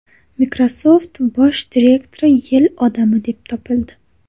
Microsoft bosh direktori yil odami deb topildi.